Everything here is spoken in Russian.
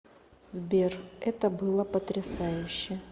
сбер это было потрясающе